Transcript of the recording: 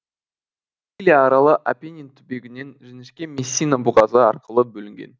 сицилия аралы апеннин түбегінен жіңішке мессина бұғазы арқылы бөлінген